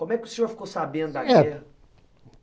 Como é que o senhor ficou sabendo da guerra?